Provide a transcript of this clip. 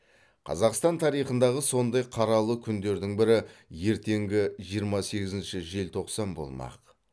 қазақстан тарихындағы сондай қаралы күндердің бірі ертеңгі жиырма сегізінші желтоқсан болмақ